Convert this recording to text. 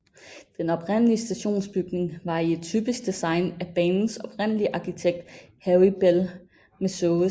Den oprindelige stationsbygning var i et typisk design af banens oprindelige arkitekt Harry Bell Measures